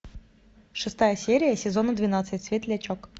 шестая серия сезона двенадцать светлячок